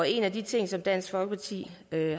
en af de ting som dansk folkeparti